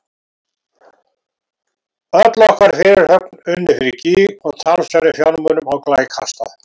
Öll okkar fyrirhöfn unnin fyrir gýg og talsverðum fjármunum á glæ kastað.